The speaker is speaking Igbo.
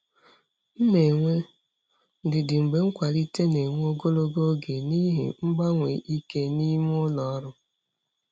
M na-enwe ndidi mgbe nkwalite na-ewe ogologo oge n'ihi mgbanwe ike n'ime ụlọ ọrụ.